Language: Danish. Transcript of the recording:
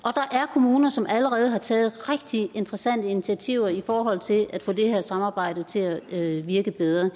kommuner som allerede har taget rigtig interessante initiativer i forhold til at få det her samarbejde til at virke bedre